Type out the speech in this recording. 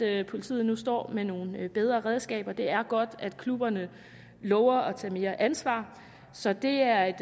at politiet nu står med nogle bedre redskaber det er godt at klubberne lover at tage mere ansvar så det er et